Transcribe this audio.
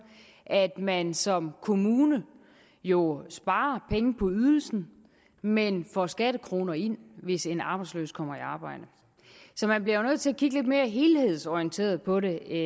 at man som kommune jo sparer penge på ydelsen men får skattekroner ind hvis en arbejdsløs kommer i arbejde så man bliver nødt til at kigge lidt mere helhedsorienteret på det